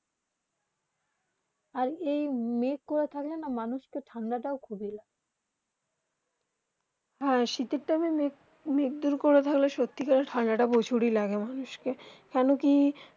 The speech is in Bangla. আর এই মেঘ করা থাকলে না মানুষ কে ঠান্ডা তা খুবই লাগে হেঁ শীতে টাইম মেঘ দর করা সত্যি ঠান্ডা তা প্রচুর হি লাগে মানুষ কে কেন কি